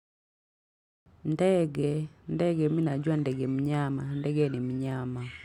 Ndege ndege mi najua ndege mnyama ndege ni mnyama.